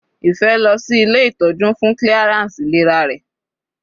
Ife lọ sí ilé ìtọ́jú fún clearance ìlera rẹ̀.